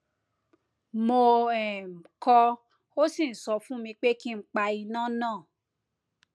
mo um kọ ó sì ń sọ fún mi pé kí n pa iná náà